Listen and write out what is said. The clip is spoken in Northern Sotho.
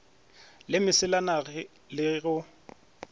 le mesela na le go